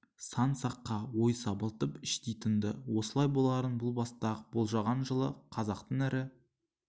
сан саққа ой сабылтып іштей тыңды осылай боларын бұл баста-ак болжаған жылы қазақтың ірі